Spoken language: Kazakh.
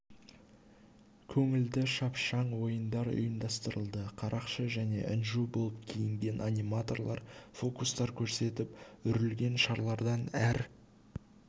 көңілді шапшаң ойындар ұйымдастырылды қарақшы және інжу болып киінген аниматорлар фокустар көрсетіп үрілген шарлардан әр